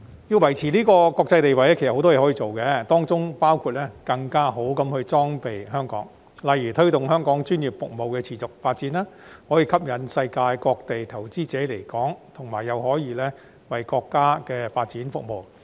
要維持國際地位，香港其實有很多工作可以做，當中包括更好地裝備香港，例如推動香港專業服務持續發展，此舉可吸引世界各地投資者來港，同時又可為國家發展服務。